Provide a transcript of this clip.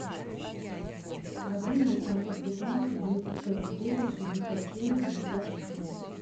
один восемьсот пятнадцать двести сорок девять шестьдесят семь пятьдесят четыре